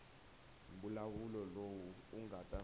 mbulavulo lowu u nga ta